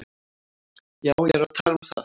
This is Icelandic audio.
Já, ég er að tala um það.